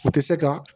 U tɛ se ka